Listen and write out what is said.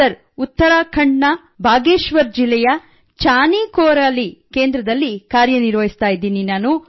sir Uttarakhand ನ ಬಾಗೇಶ್ವರ್ ಜಿಲ್ಲೆಯ ಚಾನಿಕೋರಾಲಿ ಕೇಂದ್ರದಲ್ಲಿ ಕಾರ್ಯನಿರ್ವಹಸುತ್ತಿದ್ದೇನೆ